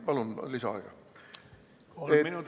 Palun lisaaega!